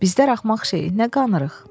Bizdə axmaq şey nə qanırıq?